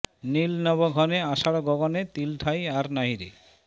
নীল নব ঘনে আষাঢ় গগনে তিল ঠাঁই আর নাহিরে